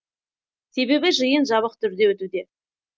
себебі жиын жабық түрде өтуде